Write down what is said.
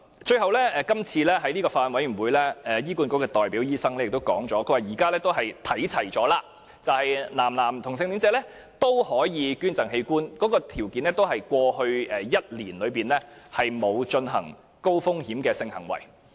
最後，在法案委員會會議上，醫院管理局的代表醫生表示，現時兩者已經看齊，男同性戀者可以捐贈器官，條件同樣是在過去1年內沒有進行高風險性行為。